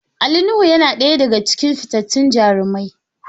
Ali Nuhu yana daya daga cikin fitattun jarumai.